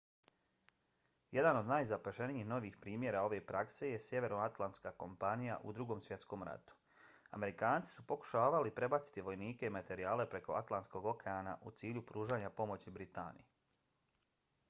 jedan od najzapaženijih novijih primjera ove prakse je sjevernoatlantska kampanja u drugom svjetskom ratu. amerikanci su pokušavali prebaciti vojnike i materijale preko atlantskog okeana u cilju pružanja pomoći britaniji